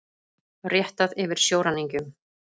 Réttað yfir sjóræningjum